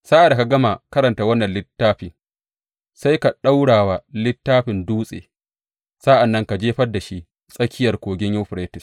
Sa’ad da ka gama karanta wannan littafi, sai ka ɗaura wa littafin dutse, sa’an nan ka jefar da shi tsakiyar Kogin Yuferites.